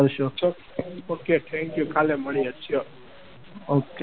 okay thank you કાલે મળીએ. sure